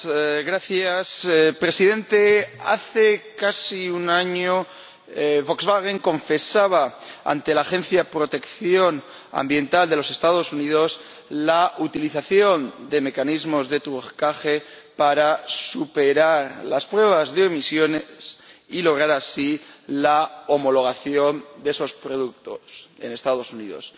Señor Presidente, hace casi un año Volkswagen confesaba, ante la Agencia de Protección Ambiental de los Estados Unidos, la utilización de mecanismos de trucaje para superar las pruebas de emisiones y lograr así la homologación de esos productos en los Estados Unidos.